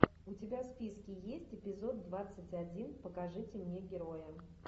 у тебя в списке есть эпизод двадцать один покажите мне героя